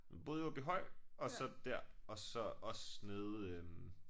Boet i Åbyhøj og så dér og så også nede øh